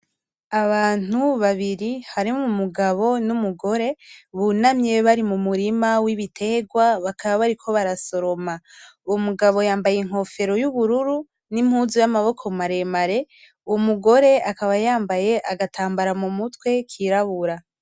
Abantu babiri harimwo umugabo n'umugore bunamye bari mu murima w'ibiterwa bakaba bariko barasoroma, uwo mugabo yambaye inkofero y'ubururu n'impuzu y'amaboko maremare, umugore akaba yambaye agatambara mu mutwe kirabura.